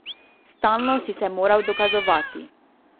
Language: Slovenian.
Stalno si se moral dokazovati.